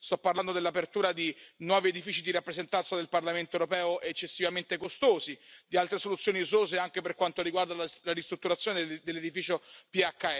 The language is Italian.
Sto parlando dell'apertura di nuovi edifici di rappresentanza del Parlamento europeo eccessivamente costosi o di altre soluzioni esose anche per quanto riguarda la ristrutturazione dell'edificio PHS.